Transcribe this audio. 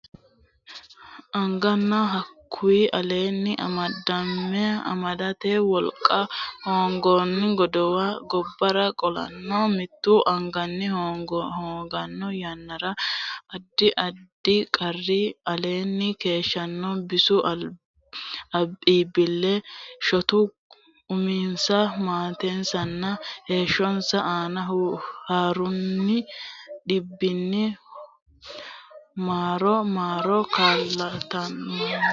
agananna hakkuy aleenni amadame amadante wolqa hooganno godowa gobbara qolanna mittu agani hoogganno yannara addi addi qarri aleenni keeshshanno bisu iibbilli shotu uminsa maatensanna heeshshonsa aana hurranni dhibbi marro marro kalaqamanno.